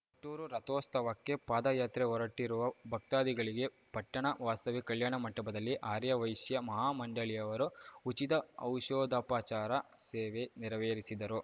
ಕೊಟ್ಟೂರು ರಥೋಸ್ತವಕ್ಕೆ ಪಾದ ಯಾತ್ರೆ ಹೊರಟಿರುವ ಭಕ್ತಾದಿಗಳಿಗೆ ಪಟ್ಟಣ ವಾಸವಿ ಕಲ್ಯಾಣ ಮಂಟಪದಲ್ಲಿ ಆರ್ಯ ವೈಶ್ಯ ಮಹಾ ಮಂಡಳಿಯವರು ಉಚಿತ ಔಷಧೋಪಚಾರ ಸೇವೆ ನೆರವೇರಿಸಿದರು